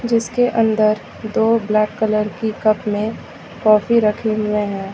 जिसके अन्दर दो ब्लैक कलर की कप में कॉफी रखे हुए हैं।